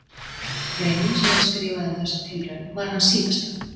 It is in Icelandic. Greinin sem hann skrifaði um þessa tilraun var hans síðasta.